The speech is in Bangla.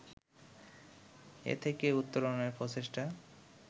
এ থেকে উত্তরণে প্রচেষ্টা